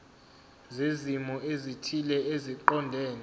zezimo ezithile eziqondene